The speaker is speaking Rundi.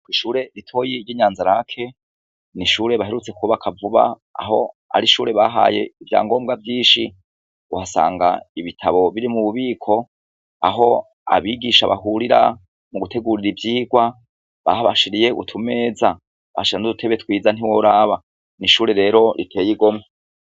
Ko ishure ritoyi ry'inyanzarake ni ishure baherutse kubakavuba aho ari ishure bahaye ivya ngombwa vyinshi guhasanga ibitabo biri mu bubiko aho abigisha bahurira mu gutegurira ivyirwa bahabashiriye utumeza basha n' urutebe twiza ntiworaba ni shure rero riteye igomwa.